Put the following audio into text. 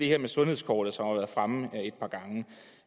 her med sundhedskortet som har været fremme